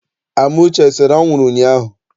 Amuche esere anwụrụ ụnyaahụ?